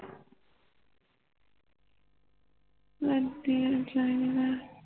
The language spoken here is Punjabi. ਵਧੀਆ ਚਾਹੀਦਾ